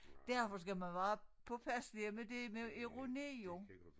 Derfor skal man være påpasselige med det med ironi jo